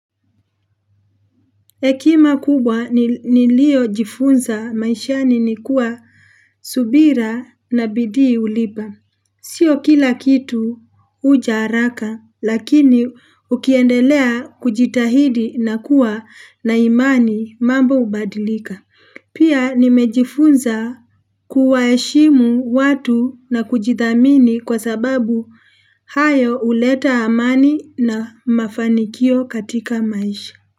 Hekima kubwa niliyojifunza maishani nikuwa subira na bidii hulipa. Sio kila kitu huja haraka lakini ukiendelea kujitahidi na kuwa na imani mambo hubadilika. Pia nimejifunza kuwaheshimu watu na kujithamini kwa sababu hayo huleta amani na mafanikio katika maisha.